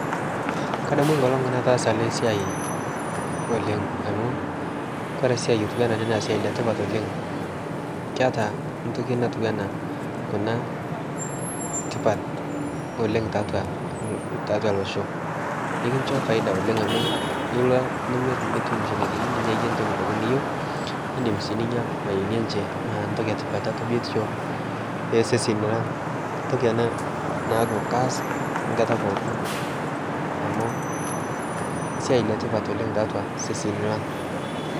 kadamu e nkolong nataasa ale siai oleng amu kore siai otuwana ale naa siai letipat oleng keata ntoki natuwana kuna tipat oleng taatua losho ikinsho faida oleng amu ilo nimir nitum shilinkini ninyayie ntoki pooki niyeu nindim sii ninya mayeeni enche naa ntoki e tipat taatua biotisho ee seseni lang ntoki ana naaku kaas nkata pookin amu siai le tipat oleng taatua seseni lang